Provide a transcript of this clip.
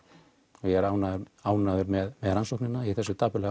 og ég er ánægður ánægður með rannsóknina í þessu dapurlega